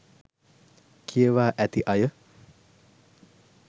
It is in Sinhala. කියවා ඇති අය